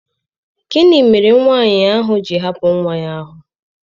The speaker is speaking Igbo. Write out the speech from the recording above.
Gịnị mere nwanyị ahụ ji hapụ nwa ahụ?